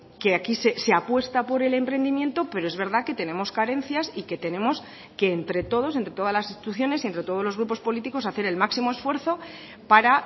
que aquí se apuesta por el emprendimiento pero es verdad que tenemos carencias y que tenemos que entre todos entre todas las instituciones y entre todos los grupos políticos hacer el máximo esfuerzo para